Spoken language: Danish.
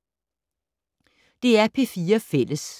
DR P4 Fælles